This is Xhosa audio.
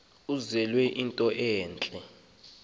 enzelwe into entle